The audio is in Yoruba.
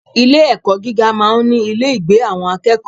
Ilé ẹ̀kọ́ gíga máa ń ní ilé ìgbé àwọn akẹ́kọ̀ọ́.